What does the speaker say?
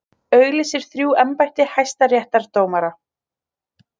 Auglýsir þrjú embætti hæstaréttardómara